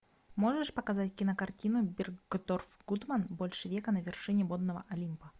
можешь показать кинокартину бергдорф гудман больше века на вершине модного олимпа